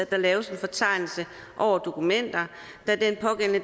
der laves en fortegnelse over dokumenter